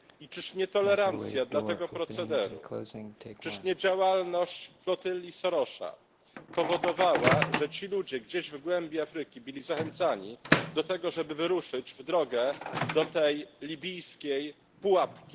I czyż nie tolerancja dla tego procederu, czyż nie działalność flotylli Sorosa powodowała, że ci ludzie gdzieś w głębi Afryki byli zachęcani do tego, żeby wyruszyć w drogę do tej libijskiej pułapki?